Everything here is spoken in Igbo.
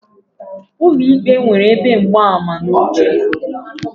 Ụlọ ikpe nwere ebe mgbaama na oche